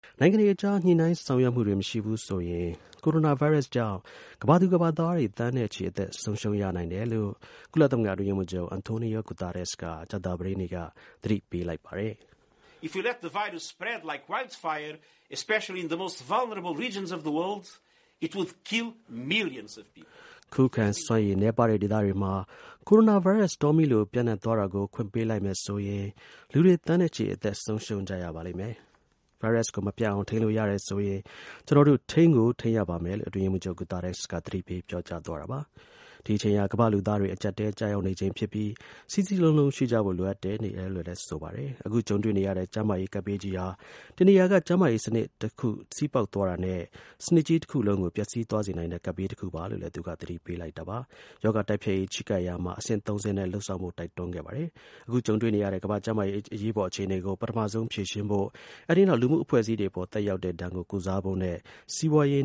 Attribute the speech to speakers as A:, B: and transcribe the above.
A: နိုင်ငံတွေအကြား ညှိနှိုင်းဆောင်ရွက်မှုတွေမရှိဘူးဆိုရင်ကိုရိုနာ ဗိုင်းရပ်စ်ကြောင့် ကမ္ဘာသူ ကမ္ဘာသားတွေသန်းနဲ့ချီ အသက် ဆုံးရှုံး ရနိုင်တယ်လို့ ကုလသမဂ္ဂ အတွင်းရေးမှူးချုပ် Antonio Guterres က ကြာသပတေးနေ့က သတိပေးလိုက်ပါတယ်။
B: “
A: ခုခံစွမ်းရည် နည်းပါးတဲ့ဒေသတွေမှာ ကိုရိုနာ ဗိုင်းရပ်စ် တောမီးလို ပျံ့နှံ့သွားတာကို ခွင့်ပေးလိုက်မယ်ဆိုရင် လူတွေ သန်းနဲ့ချီ အသက် ဆုံးရှုံးကြရပါလိမ့်မယ်။ ဗိုင်းရပ်စ်ကို မပျံ့အောင် ထိန်းလို့ရတယ်ဆိုရင် ကျွန်တော်တို့ ထိန်းကို ထိန်းရပါမယ်” လို့ အတွင်း ရေးမှူး ချုပ် Guterres က သတိပေး ပြောကြားသွားတာပါ။ ဒီ အချိန်ဟာ ကမ္ဘာ့လူသားတွေရဲ့ အကျပ်အတည်းကြီးတစ်ခုဖြစ်ပြီး စည်းစည်းလုံးလုံး ရှိကြဖို့ လိုအပ်နေတယ်လို့လည်း ဆိုပါတယ်။ အခုကြုံတွေ့နေရတဲ့ကျန်းမာရေး ကပ်ဘေးကြီးဟာ တစ်နေရာက ကျန်းမာရေး စနစ်တစ်ခု စည်းပေါက်သွားတာနဲ့ စနစ်ကြီး တစ်ခု လုံးကို ပျက်စီးသွားစေနိုင်တဲ့ ကပ်ဘေးတစ်ခုပါတယ်လို့လည်း သူကသတိပေးလိုက်ပါတယ်။ ရောဂါတိုက်ဖျက်ရေး ချဉ်းကပ်ရာမှာ အဆင့် ၃ဆင့်နဲ့ လုပ်ဆောင်ဖို့ တိုက်တွန်းခဲ့ပါတယ်။ အခု ကြုံတွေ့နေရတဲ့ ကမ္ဘာ့ ကျန်းမာရေး အရေးပေါ် အခြေအနေကို ပထမဆုံး ဖြေရှင်းဖို့၊ အဲဒီ နောက် လူမှု အဖွဲ့အစည်းတွေ အပေါ် သက်ရောက်တဲ့ဒဏ်ကို ကုစားဖို့နဲ့ စီးပွားရေး